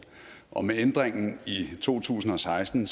og med ændringen i to tusind og seksten